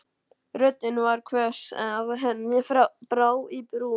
Röddin var svo hvöss að henni brá í brún.